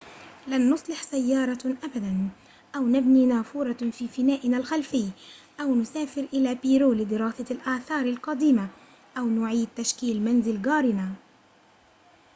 لن نصلح سيارة أبدًا أو نبني نافورة في فنائنا الخلفي أو نسافر إلى بيرو لدراسة الآثار القديمة أو نعيد تشكيل منزل جارنا